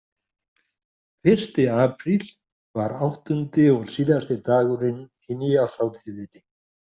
Fyrsti apríl var áttundi og síðasti dagurinn í nýárshátíðinni.